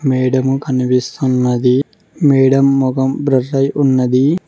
Madam కనిపిస్తున్నది madam మొఖం blur అయ్యి ఉన్నది.